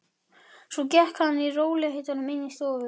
Svo gekk hann í rólegheitum inn í stofuna.